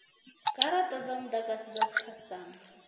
garata dza mudagasi dza dzikhasitama